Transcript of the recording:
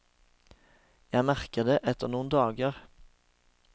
Jeg merker det etter noen dager.